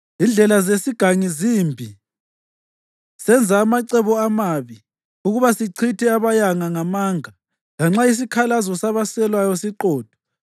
Izindlela zesigangi zimbi, senza amacebo amabi ukuba sichithe abayanga ngamanga, lanxa isikhalazo sabaswelayo siqotho.